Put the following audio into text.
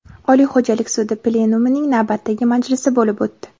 Oliy xo‘jalik sudi plenumining navbatdagi majlisi bo‘lib o‘tdi.